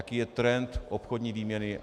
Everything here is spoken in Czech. Jaký je trend obchodní výměny?